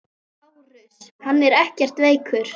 LÁRUS: Hann er ekkert veikur.